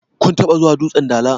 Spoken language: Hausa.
kun taba zuwa dutsen Dala?